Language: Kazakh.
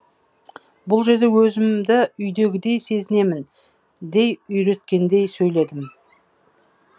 бұл жерде өзімді үйдегідей сезінемін дей үйреткендей сөйледім